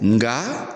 Nga